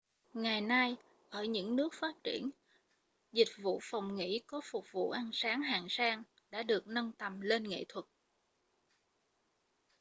ngày nay ở những nước phát triển dịch vụ phòng nghỉ có phục vụ ăn sáng hạng sang đã được nâng lên tầm nghệ thuật